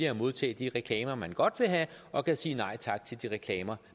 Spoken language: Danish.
at modtage de reklamer han godt vil have og kan sige nej tak til de reklamer